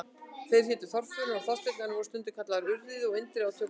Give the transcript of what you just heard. Þeir hétu Þorfinnur og Þorsteinn en voru stundum kallaðir Urriði og Indriði á tökustað.